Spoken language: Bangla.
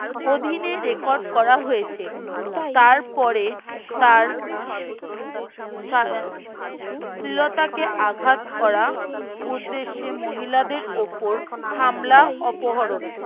অধীনে রেকর্ড করা হয়েছে তারপরে তার সা স্ত্রীলতাকে আঘাত করা উদ্দেশ্যে মহিলাদের ওপর হামলা অপহরণ